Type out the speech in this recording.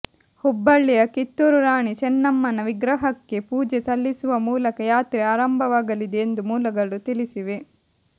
ಹುಬ್ಬಳ್ಳಿಯ ಕಿತ್ತೂರು ರಾಣಿ ಚೆನ್ನಮನ್ಮ ವಿಗ್ರಹಕ್ಕೆ ಪೂಜೆ ಸಲ್ಲಿಸುವ ಮೂಲಕ ಯಾತ್ರೆ ಆರಂಭವಾಗಲಿದೆ ಎಂದು ಮೂಲಗಳು ತಿಳಿಸಿವೆ